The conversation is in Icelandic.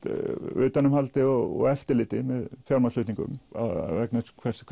utanumhaldi og eftirliti með fjármagnsflutningum vegna þess hvernig